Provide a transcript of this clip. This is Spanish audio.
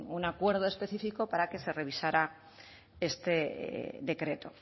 un acuerdo específico para que se revisara este decreto